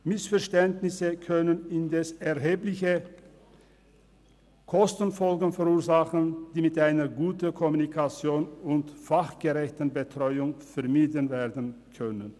Missverständnisse können indes erhebliche Kostenfolgen verursachen, die mit einer guten Kommunikation und fachgerechten Betreuung vermieden werden können.